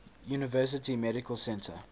university medical center